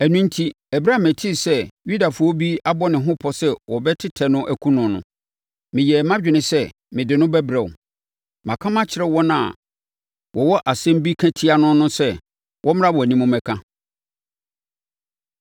Ɛno enti, ɛberɛ a metee sɛ Yudafoɔ bi abɔ ne ho pɔ sɛ wɔbɛtɛ no akum no no, meyɛɛ mʼadwene sɛ mede no bɛbrɛ wo. Maka makyerɛ wɔn a wɔwɔ asɛm bi ka tia no no sɛ, wɔmmra wʼanim mmɛka.